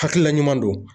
Hakilila ɲuman don